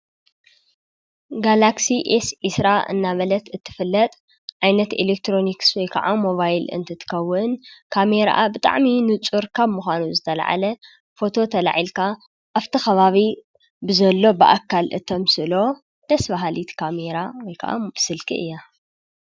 ጋላክሲ ኤስ ዒስራ እናበለት እትፍለጥ ዕዓይነት ኤሌክትሮንክስ ወይከዓ ሞባይል እንትትከውን ካሜርኣ ብጣዕሚ ንጹር ካብ ምዃኑ ዝተለዓለ ፈቶ ተላዒልካ ኣፍቲ ኸባቢ ብዘሎ ብኣካል እተምጥስሎ ደሥ ብሃሊት ካሜራ ወይከዓ ምስልኪ እያ።